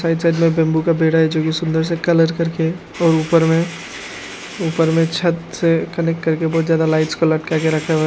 Right side में bamboo का पेड़ है जो की सुंदर सा कलर करके और ऊपर में ऊपर में छत से कनेक्ट करके बहुत ज्यादा लाइट्स को लटका के रखा हुआ है।